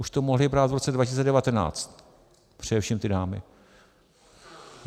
Už to mohli brát v roce 2019, především ty dámy.